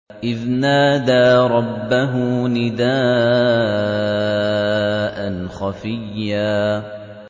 إِذْ نَادَىٰ رَبَّهُ نِدَاءً خَفِيًّا